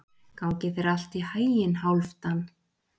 Gangi þér allt í haginn, Hálfdan.